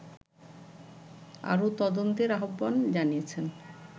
আরো তদন্তের আহবান জানিয়েছেন